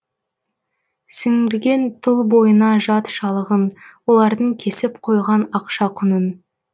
сіңірген тұл бойына жат шалығын олардың кесіп қойған ақша құнын